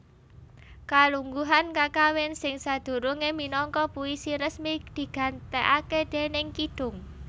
Kalungguhan kakawin sing sadurungé minangka puisi resmi digantèkaké déning kidung